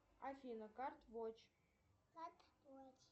афина карт вотч